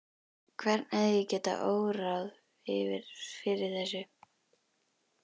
Hvern hefði getað órað fyrir þessu?